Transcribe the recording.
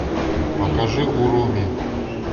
покажи уруми